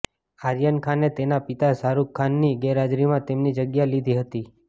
આર્યન ખાને તેના પિતા શાહરૂખ ખાનની ગેરહાજરીમાં તેમની જગ્યા લીધી હતી